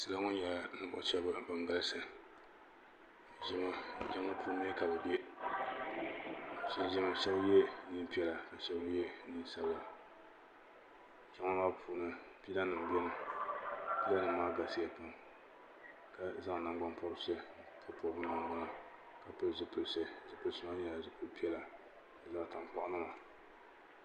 Salo m be jiŋli ni ka jiŋli maa laati nyɛ dozim jiŋli maa manmaŋa puuni nyɛla dozim ka pooli nima sansaya ka nyɛ zaɣa sabila salo sheba ban be dipuuni maa sheba ye niɛn'sabila ka pili zipili piɛla ka sheba mee ye niɛn'piɛla ka pili zipili piɛla ka bɛ sheba lihiri bɛ nudirigu polo ka sheba lihiri bɛ nuzaa polo.